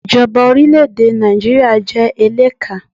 Ìjọba orílẹ̀ èdè Nàìjíríà jẹ́ eléka